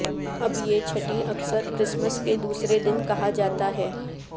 اب یہ چھٹی اکثر کرسمس کے دوسرے دن کہا جاتا ہے